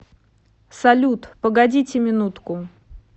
салют погодите минутку